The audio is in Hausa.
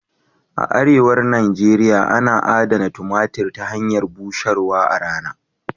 A arewa Nijeria ana adana tumatir ta hanyar busharwa a rana.